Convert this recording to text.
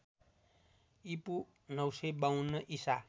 ईपू ९५२ ईसा